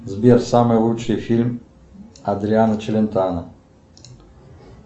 сбер самый лучший фильм адриано челентано